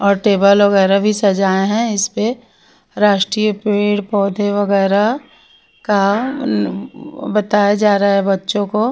और टेबल वगैरह भी सजाए हैं इस पे राष्ट्रीय पेड़ पौधे वगैरह का अम्म बताया जा रहा है बच्चों को --